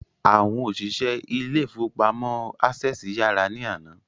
Àwọn òṣìṣẹ́ ilé ìfọwọ́pamo Access yàrá ní àná.